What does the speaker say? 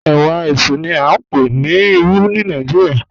Ẹwà ẹṣú ni a ń pè ní Ìrù ní Yorùbá.